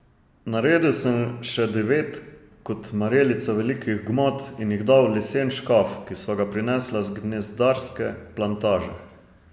Naredil sem še devet kot marelica velikih gmot in jih dal v lesen škaf, ki sva ga prinesla z gnezdarske plantaže.